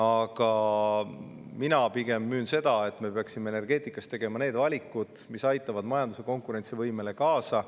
Aga mina pigem müün seda, et me peaksime energeetikas tegema need valikud, mis aitavad majanduse konkurentsivõimele kaasa.